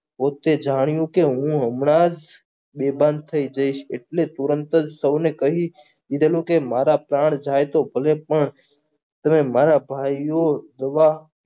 પોતે જાણ્યું કે હું હમણાજ બેભાન થઈ જઈશ એટલે તરતજ સૌને કહી દીધેલું કે મારા પ્રાણ જાયતો ભલે પણ મારા ભઈઓ જવા